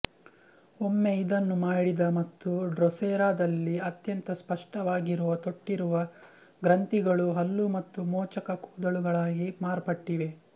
ಒಮ್ಮೆ ಇದನ್ನು ಮಾಡಿದ ಮತ್ತು ಡ್ರೊಸೆರಾ ದಲ್ಲಿ ಅತ್ಯಂತ ಸ್ಪಷ್ಟವಾಗಿರುವ ತೊಟ್ಟಿರುವ ಗ್ರಂಥಿಗಳು ಹಲ್ಲು ಮತ್ತು ಮೋಚಕ ಕೂದಲುಗಳಾಗಿ ಮಾರ್ಪಟ್ಟಿವೆ